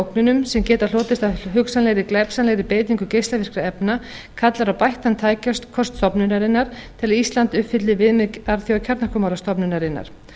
ógnunum sem geta hlotist af hugsanlegri glæpsamlegri beitingu geislavirkra efna kallar á bættan tækjakost stofnunarinnar til að ísland uppfylli viðmið alþjóðakjarnorkumálastofnunarinnar